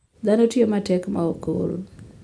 Dhano tiyo matek maok ool.